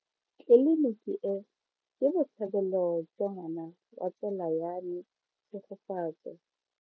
Tleliniki e, ke botsalelo jwa ngwana wa tsala ya me Tshegofatso.